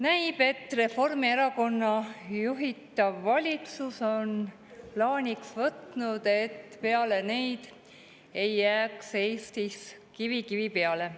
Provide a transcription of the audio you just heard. Näib, et Reformierakonna juhitav valitsus on plaaniks võtnud, et peale neid ei jääks Eestis kivi kivi peale.